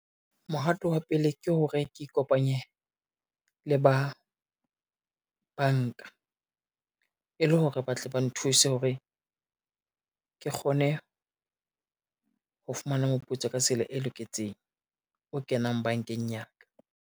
Mohato wa pele ke hore ke ikopanye le ba banka, e le hore ba tle ba nthuse hore, ke kgone ho fumana moputso ka tsela e loketseng, o kenang bankeng ya ka.